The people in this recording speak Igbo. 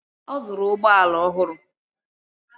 Ọ zụrụ ụgbọala ọhụrụ